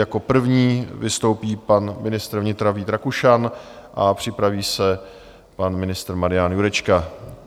Jako první vystoupí pan ministr vnitra Vít Rakušan a připraví se pan ministr Marian Jurečka.